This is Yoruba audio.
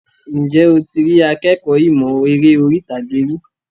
Ǹjẹ́ o ti rí akékọ̀ọ́ ìmọ̀ eré orí ìtàgé rí?